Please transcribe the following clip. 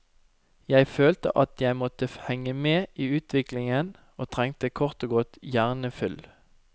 Jeg følte at jeg måtte henge med i utviklingen og trengte kort og godt hjernefyll.